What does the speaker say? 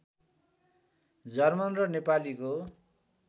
German र नेपालीको